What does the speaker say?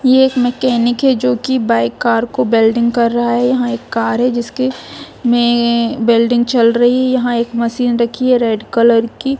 ये एक मैकेनिक हैजो की बाइक कार को वेल्डिंग कर रहा है यहाँ एक कार हैजिसके में वेल्डिंग चल रही है यहाँ एक मशीन रखी है रेड कलर की।